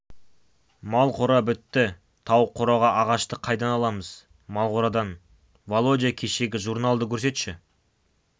мал қора бітті тауық қораға ағашты қайдан аламыз мал қорадан володя кешегі журналды көрсетші